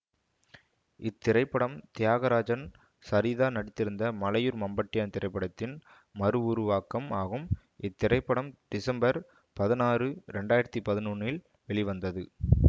இத்திரைப்படம் தியாகராஜன் சரிதா நடித்திருந்த மலையூர் மம்பட்டியான் திரைப்படத்தின் மறுவுருவாக்கம் ஆகும் இத்திரைப்படம் டிசம்பர் பதினாறு இரண்டு ஆயிரத்தி பதினொன்றில் வெளிவந்தது